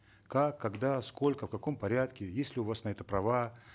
как когда сколько в каком порядке есть ли у вас на это права